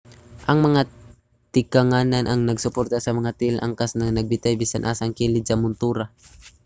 ang mga tikanganan ang nagsuporta sa mga tiil sa angkas nga nagbitay sa bisan asang kilid sa montura